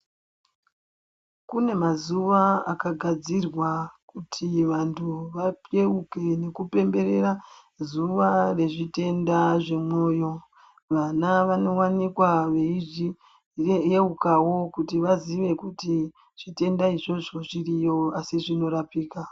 Kune mazuwa akagadzirwa kuti vantu vayeuke nekupemberera zuwa rezvitenda zvemwoyo vana vanowanikwa veizviyeukawo kuti vaziye kuti zvitenda izvozvo zviriyo asi zvinorapika.